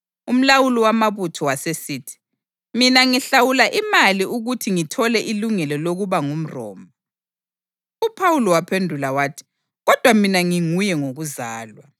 Umlawuli wamabutho wasesithi, “Mina ngahlawula imali ukuthi ngithole ilungelo lokuba ngumRoma.” UPhawuli waphendula wathi, “Kodwa mina nginguye ngokuzalwa.”